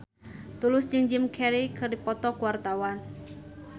Tulus jeung Jim Carey keur dipoto ku wartawan